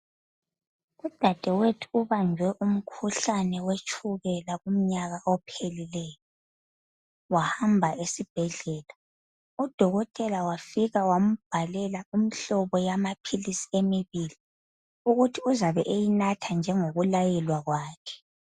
Udadewethu ubanjwe umkhuhlane wetshukela kumnyaka ophelileyo wahamba esibhedlela, udokotela wafika wambhalela imihlobo yamaphilisi amabili ukuthi uzabe eyinatha njengokulayelwa kwakhe